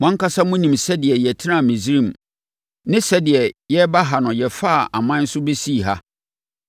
Mo ankasa monim sɛdeɛ yɛtenaa Misraim ne sɛdeɛ yɛreba ha no yɛfaa aman so bɛsii ha.